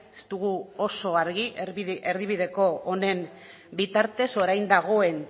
ez dugu oso argi erdibideko honen bitartez orain dagoen